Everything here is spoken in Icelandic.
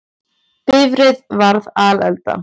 Bifreið varð alelda